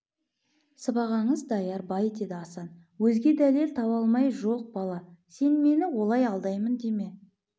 сыбағаңыз даяр бай деді асан өзге дәлел таба алмай жоқ бала сен мені олай алдаймын деме